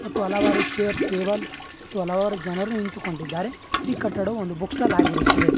ಮತ್ತು ಹಲವಾರು chair table ಮತ್ತು ಹಲವಾರು ಜನರು ನಿಂತುಕೊಂಡಿದ್ದಾರೆ ಈ ಕಟ್ಟಡವು ಒಂದು ಬುಕ್ ಸ್ಟಾಲ್ ಆಗಿರುತ್ತದೆ.